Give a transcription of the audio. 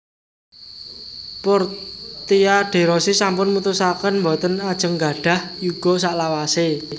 Portia de Rossi sampun mutusaken mboten ajeng nggadhah yuga saklawase